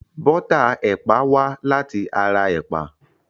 Bọ́tà ẹ̀pà wá láti ara ẹ̀pà.